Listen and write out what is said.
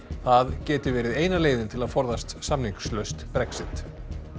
það geti verið eina leiðin til að forðast samningslaust Brexit